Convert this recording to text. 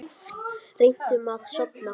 Reyndum að sofna.